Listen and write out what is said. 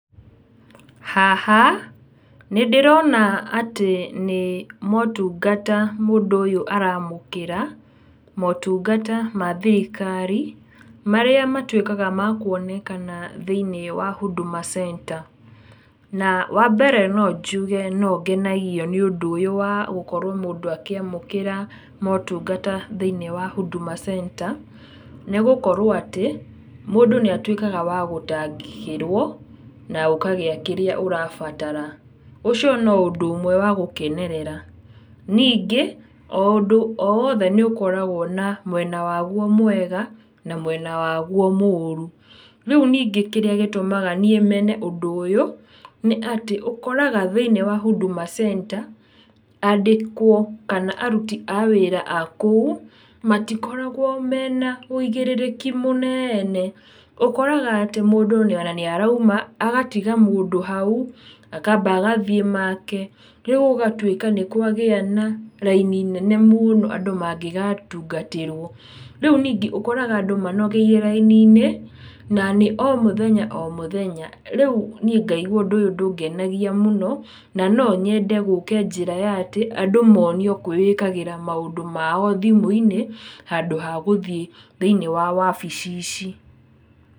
Haha nĩ ndĩrona atĩ nĩ motungata mũndũ ũyũ aramũkĩra, motungata ma thirikari, marĩa matuĩkaga ma kuonekana thĩ-inĩ wa huduma center, na wa mbere no njuge no ngenagio nĩ ũndũ ũyũ wa gũkorwo mũndũ akĩamũkĩra motungata thĩ-inĩ wa Huduma center, nĩ gũkorwo atĩ, mũndũ nĩ atuĩkaga wa gũtangĩkĩrwo, na ũkagĩa kĩrĩa ũrabatara. Ũcio no ũndũ ũmwe wa gũkenerera. Ningĩ o ũndũ o wothe nĩ ũkoragwo na mwena waguo mwega, na mwena waguo moru. Rĩu ningĩ kĩrĩa gĩtũmaga niĩ mene ũndũ ũyũ, nĩ atĩ ũkoraga thĩ-inĩ wa huduma centre, andĩkwo kana aruti a wĩra a kou, matikoragwo mena ũigĩrĩrĩki mũnene, ũkoraga atĩ mũndũ o na nĩ arauma, agatiga mũndũ hau, akamba agathiĩ make, rĩu gũgatuĩka nĩ kwagĩa na raini nene mũno andũ mangĩgatungatĩrwo. Rĩu ningĩ ũkoraga andũ manogeire raini-inĩ, na nĩ o mũthenya o mũthenya, rĩu niĩ ngaigua ũndũ ũyũ ndũngenagia mũno, na no nyende gũke njĩra ya atĩ, andũ monio gwĩĩkagĩra maũndũ mao thimũ-inĩ, handũ ha gũthiĩ thĩ-inĩ wa wabici ici.